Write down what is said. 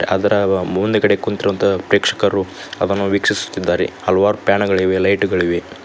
ಅದರ ಮುಂದ್ಗಡೆ ಕುಂತಿರೋಹಂತಹ ಪ್ರೇಕ್ಷಕರು ಅದನ್ನು ವೀಕ್ಷಿಸುತ್ತಿದ್ದಾರೆ ಹಲವಾರು ಬ್ಯಾನರ್ ಗಳಿವೆ ಲೈಟುಗಳಿವೆ.